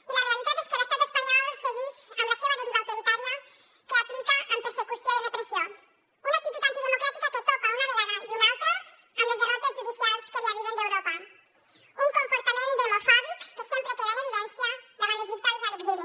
i la realitat és que l’estat espanyol seguix amb la seua deriva autoritària que aplica amb persecució i repressió una actitud antidemocràtica que topa una vegada i una altra amb les derrotes judicials que li arriben d’europa un comportament demofòbic que sempre queda en evidència davant les victòries a l’exili